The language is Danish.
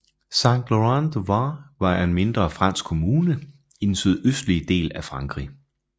Saint Laurent du Var er en mindre fransk kommune i den sydøstlige del af Frankrig